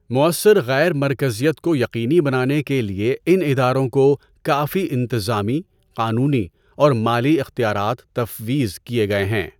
موثر غیر مرکزیت کو یقینی بنانے کے لیے ان اداروں کو کافی انتظامی، قانونی اور مالی اختیارات تفویض کیے گئے ہیں۔